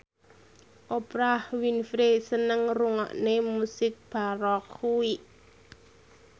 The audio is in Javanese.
Oprah Winfrey seneng ngrungokne musik baroque